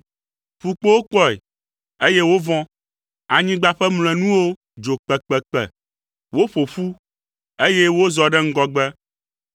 Ƒukpowo kpɔe, eye wovɔ̃. Anyigba ƒe mlɔenuwo dzo kpekpekpe, woƒo ƒu, eye wozɔ ɖe ŋgɔgbe;